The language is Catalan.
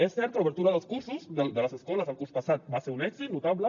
és cert que l’obertura de les escoles el curs passat va ser un èxit notable